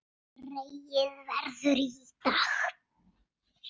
Dregið verður í dag.